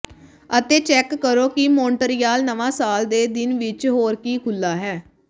ਅਤੇ ਚੈੱਕ ਕਰੋ ਕਿ ਮੌਂਟਰੀਆਲ ਨਵਾਂ ਸਾਲ ਦੇ ਦਿਨ ਵਿਚ ਹੋਰ ਕੀ ਖੁੱਲ੍ਹਾ ਹੈ